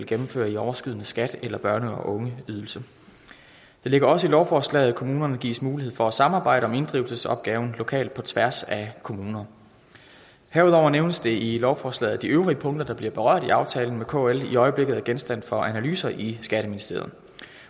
gennemfører i overskydende skat eller børne og ungeydelse det ligger også i lovforslaget at kommunerne gives mulighed for at samarbejde om inddrivelsesopgaven lokalt på tværs af kommuner herudover nævnes det i lovforslaget at de øvrige punkter der bliver berørt i aftalen med kl i øjeblikket er genstand for analyser i skatteministeriet